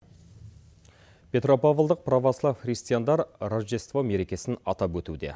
петропавлдық провослав христиандар рожедество мерекесін атап өтуде